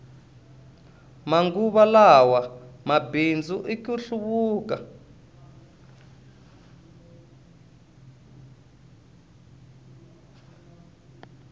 manguva lawa mabindzu i ku hluvuka